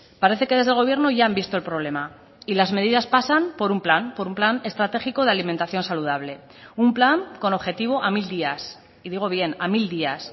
parece que desde el gobierno ya han visto el problema y las medidas pasan por un plan por un plan estratégico de alimentación saludable un plan con objetivo a mil días y digo bien a mil días